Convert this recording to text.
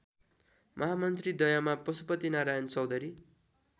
महामन्त्रीद्वयमा Parshunarayan Chaudhary